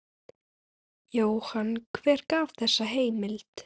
Jóhann: Hver gaf þessa heimild?